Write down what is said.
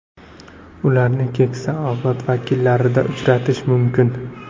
Ularni keksa avlod vakillarida uchratish mumkin.